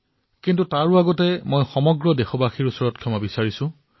কিন্তু সবাতোকৈ প্ৰথমে মই দেশবাসীৰ ওচৰত ক্ষমা বিচাৰিছো